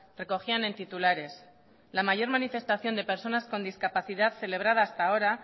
recogían en titulares la mayor manifestación de personas con discapacidad celebrada hasta ahora